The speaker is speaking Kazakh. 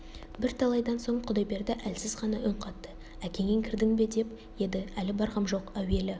бірталайдан соң құдайберді әлсіз ғана үн қатты әкеңе кірдің бе деп еді әлі барғам жоқ әуелі